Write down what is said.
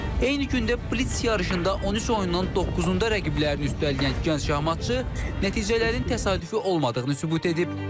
Eyni gündə blitz yarışında 13 oyundan doqquzunda rəqiblərini üstələyən gənc şahmatçı nəticələrin təsadüfi olmadığını sübut edib.